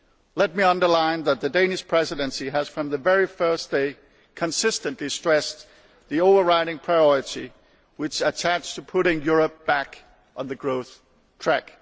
Let me underline that the Danish Presidency has from the very first day consistently stressed the overriding priority which is attached to putting Europe back on the growth track.